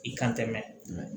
I kan tɛ mɛ